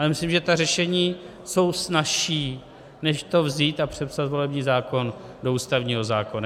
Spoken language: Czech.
Ale myslím, že ta řešení jsou snazší, než to vzít a přepsat volební zákon do ústavního zákona.